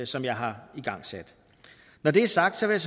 som jeg har igangsat når det er sagt vil